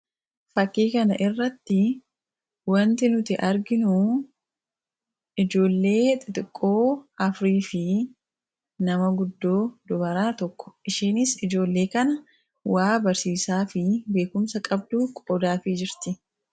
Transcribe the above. fakkii kana irratti wanti nuti arginu ijoollee xixiqqoo afurii fi nama guddoo dubaraa tokko ;ishiinis ijoollee kana wa barsiisaa fi beekumsa qabduu qoodaafii jirti.